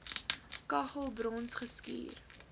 kaggel brons geskuur